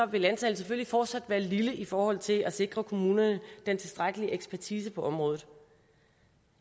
vil antallet selvfølgelig fortsat være lille i forhold til at sikre kommunerne den tilstrækkelige ekspertise på området